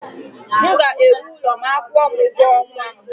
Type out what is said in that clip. M ga-ewu ụlọ ma a kwuo m ugo ọnwa m